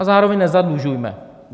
A zároveň nezadlužujme.